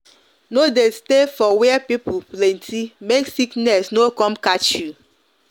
no de stay for were people plenty make sickness no com catch you